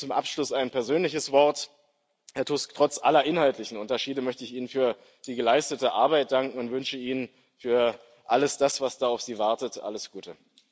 Und zum Abschluss ein persönliches Wort, Herr Tusk Trotz aller inhaltlichen Unterschiede möchte ich Ihnen für die geleistete Arbeit danken und wünsche Ihnen für alles das, was da auf Sie wartet, alles Gute!